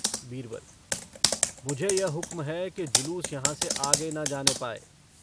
बीरबल - मुझे यह हुक्म है कि जुलूस यहाँ से आगे न जाने पाए।